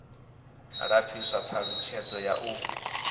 lapfiswa ha ṱhalutshedzo ya u